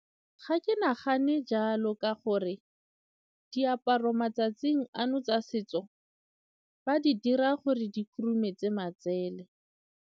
Ga ke nagane jalo ka gore diaparo matsatsing ano tsa setso ba di dira gore di khurumetse matsele.